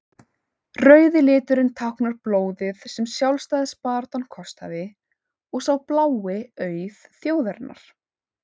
rauði liturinn táknar blóðið sem sjálfstæðisbaráttan kostaði og sá blái auð þjóðarinnar